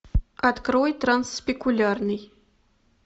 открой трансспекулярный